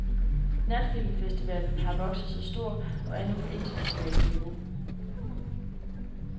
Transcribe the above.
Natfilmfestivalen har vokset sig stor, og er nu på internationalt niveau.